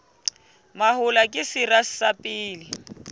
mahola ke sera sa pele